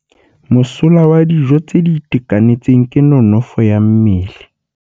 Mosola wa dijô tse di itekanetseng ke nonôfô ya mmele.